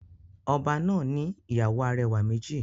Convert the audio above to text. Oba náà ni ìyàwó arẹwà méjì.